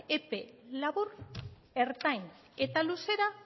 epe labur ertain eta luzera